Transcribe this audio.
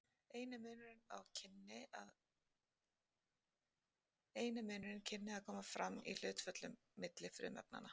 eini munurinn kynni að koma fram í hlutföllunum milli frumefnanna